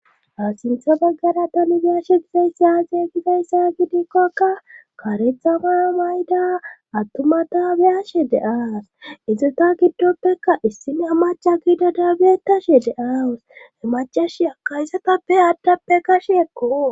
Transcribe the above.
Ha sintha baggara tani biyashe gizayssazey gizayssa gidikkokka karethama mayda attumata biyashe de7aas izota giddoppekka issine amaca gida daabietashe de'awus He macash akaysatappe aaddappe kashekko.